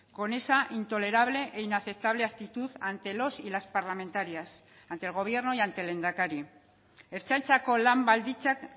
con esa intolerable e inaceptable actitud ante los y las parlamentarias ante el gobierno y ante el lehendakari ertzaintzako lan baldintzak